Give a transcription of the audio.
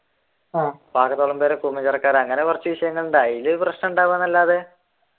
ആഹ് അതിൽ പ്രശ്നം ഉണ്ടാവുകയല്ലാതെ